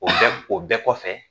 O o bɛɛ kɔfɛ